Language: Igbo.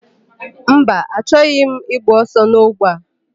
Mba, achọghị m ịgba ọsọ n'ogbe a.